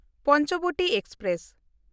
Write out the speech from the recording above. Panchavati express